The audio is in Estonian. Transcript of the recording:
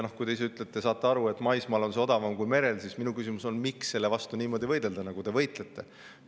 Kui te ise ütlete, et te saate aru, et maismaal on see odavam kui merel, siis minu küsimus on, miks selle vastu niimoodi võidelda, nagu te võitlete.